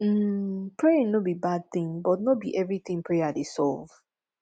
um praying no be bad thing but no be everything prayer dey solve